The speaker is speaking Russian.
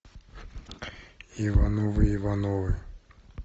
ивановы ивановы